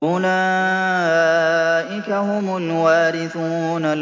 أُولَٰئِكَ هُمُ الْوَارِثُونَ